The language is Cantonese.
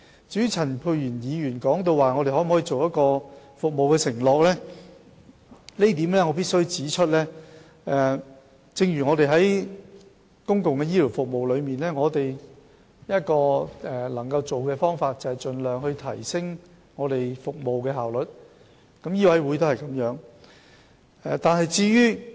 至於陳沛然議員詢問我們可否制訂服務承諾，對於這一點，我必須指出，正如在公共醫療服務中，我們可採取的做法是盡量提升服務效率，醫委會亦如是。